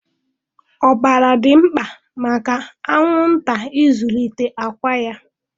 Ọbara dị mkpa maka anwụnta ịzụlite àkwá ya.